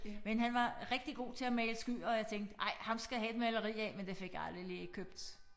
Men han var rigtig god til at male skyer og jeg tænkte ej ham skal jeg have et maleri af men det fik jeg aldrig lige købt